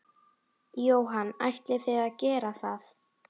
Jóhann: Ætlið þið að gera það?